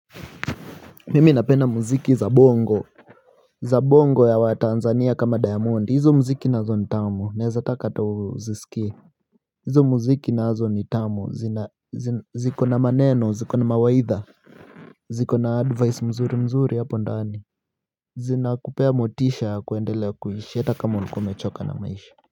Mimi napenda muziki za bongo za bongo ya wa Tanzania kama Diamond hizo muziki nazo ni tamu naezataka tu uzisikie. Hizo muziki nazo ni tamu ziko na maneno ziko na mawaidha ziko na advice mzuri mzuri hapo ndani zinakupea motisha ya kuendelea kuishi hata kama ulikuwa umechoka na maisha.